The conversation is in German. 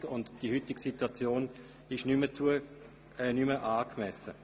Das ist richtig, und die heute bestehende Situation ist nicht mehr angemessen.